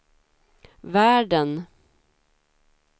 världen